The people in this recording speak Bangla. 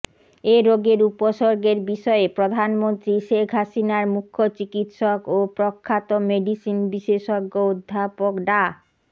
এ রোগের উপসর্গের বিষয়ে প্রধানমন্ত্রী শেখ হাসিনার মুখ্য চিকিত্সক ও প্রখ্যাত মেডিসিন বিশেষজ্ঞ অধ্যাপক ডা